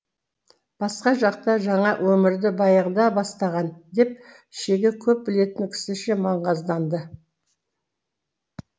басқа жақта жаңа өмірді баяғыда бастаған деп шеге көп білетін кісіше маңғазданды